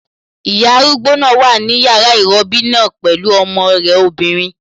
Ìyá arúgbó náà wà ní yàrá ìrọbí náà pẹ̀lú ọmọ rẹ̀ obìnrin